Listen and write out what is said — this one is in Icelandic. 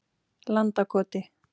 Landakoti